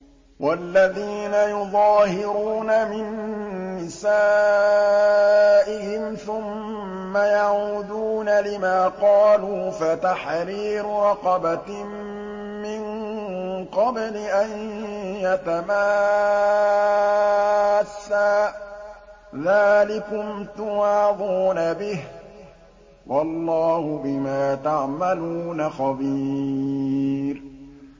وَالَّذِينَ يُظَاهِرُونَ مِن نِّسَائِهِمْ ثُمَّ يَعُودُونَ لِمَا قَالُوا فَتَحْرِيرُ رَقَبَةٍ مِّن قَبْلِ أَن يَتَمَاسَّا ۚ ذَٰلِكُمْ تُوعَظُونَ بِهِ ۚ وَاللَّهُ بِمَا تَعْمَلُونَ خَبِيرٌ